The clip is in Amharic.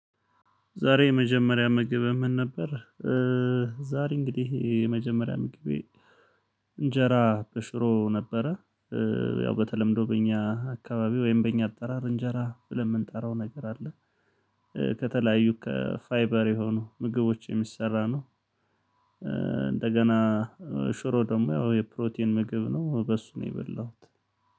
ዛሬ የመጀመሪያ ምግብህ ምን ነበር? ዛሬ እንግዲህ የመጀመሪያ ምግቤ እንጀራ በሽሮ ነበረ ያው በተለምዶ በእኛ አካባቢ ወይም በእኛ አጠራር እንጀራ ብለን የምንጠራው ነገር አለ ከተለያዩ ከፋይበር የሆኑ ምግቦች የሚሰራ ነው እንደገና ሽሮ ደግሞ ያው የፕሮቲን ምግብ ነው በሱ ነው የበላሁት